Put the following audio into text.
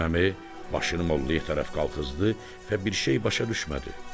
Qasım Əmi başını Mollaya tərəf qalxızdı və bir şey başa düşmədi.